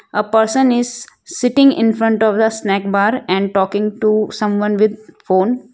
a person is sitting infront of a snack bar and talking to someone with phone.